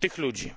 tych ludzi!